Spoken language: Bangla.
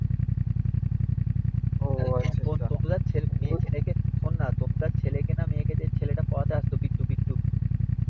তন্তু দার তন্তু মেয়ে ছেলেকে শোন না তন্তু দার ছেলে না মেয়ে কে যে ছেলেটা পড়াতে আসত, বিট্টু বিট্টু,